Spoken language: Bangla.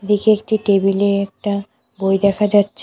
এদিকে একটি টেবিল এ একটা বই দেখা যাচ্ছে।